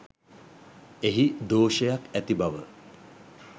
එහි දෝෂයක් ඇති බව